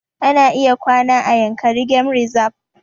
Ana iya kwana a yankari game reserve